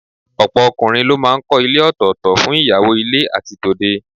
Ọ̀pọ̀ ọkùnrin ló máa ń kọ́ ilé òtọ̀ọ̀tọ̀ fún ìyàwó ilé àti tòde